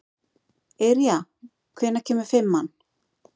Yrja, hvenær kemur fimman?